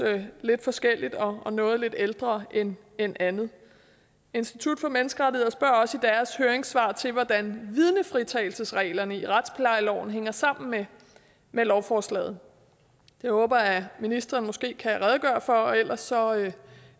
forskelligt og at noget er lidt ældre end end andet institut for menneskerettigheder spørger også i deres høringssvar til hvordan vidnefritagelsesreglerne i retsplejeloven hænger sammen med lovforslaget det håber jeg at ministeren måske kan redegøre for og ellers og